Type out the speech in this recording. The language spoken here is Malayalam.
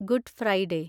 good Friday